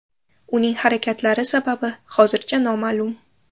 Uning harakatlari sababi hozircha noma’lum.